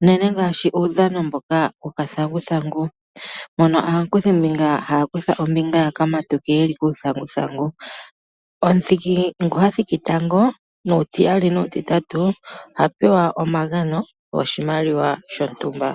unene ngaashi uudhano mboka wokathanguthangu mono aakuthi mbinga haya kutha ombinga yeli kuuthanguthangu. Omuthiki ngono hathiki tango, nomutiyali, nomutitatu ohapewa omagano goshimaliwa shontumba.